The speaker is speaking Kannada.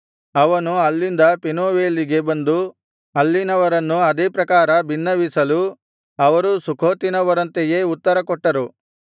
ಅವನು ಅಲ್ಲಿಂದ ಪೆನೂವೇಲಿಗೆ ಬಂದು ಅಲ್ಲಿನವರನ್ನು ಅದೇ ಪ್ರಕಾರ ಬಿನ್ನವಿಸಲು ಅವರೂ ಸುಖೋತಿನವರಂತೆಯೇ ಉತ್ತರಕೊಟ್ಟರು